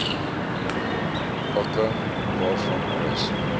pakking waarvan alles